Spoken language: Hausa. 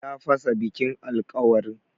Ya fasa bikin alkawarin.